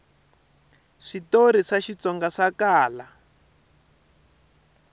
switori swa xitsonga swa kala